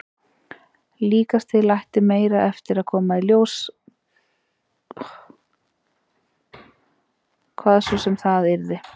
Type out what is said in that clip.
Líkast til ætti meira eftir að koma í ljós, hvað svo sem það yrði.